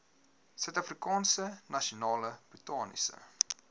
suidafrikaanse nasionale botaniese